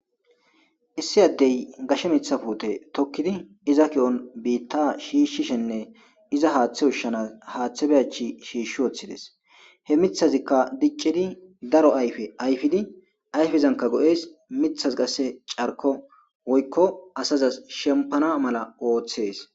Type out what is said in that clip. Issi addey gashe mithapuute tokkidi iza ki'on biitta shiishshishenne iza haaththe ushshanas haaththe be achi shiishshi woththides he mithazikka diccidi daro ayfe ayfidi ayfizanka go'es mithaz qasse carko woykko asazas shempana mala ooththees.